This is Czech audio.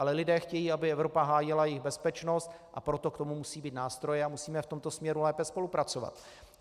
Ale lidé chtějí, aby Evropa hájila jejich bezpečnost, a proto k tomu musejí být nástroje a musíme v tomto směru lépe spolupracovat.